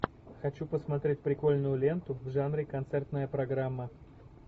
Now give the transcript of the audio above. хочу посмотреть прикольную ленту в жанре концертная программа